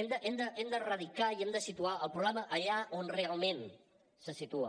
hem de radicar i hem de situar el problema allà on realment se situa